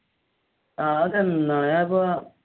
ആഹ് അതെന്നാണ്?